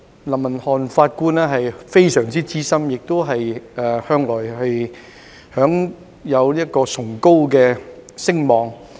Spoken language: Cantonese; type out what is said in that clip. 林文瀚法官非常資深，並且向來享有崇高聲望。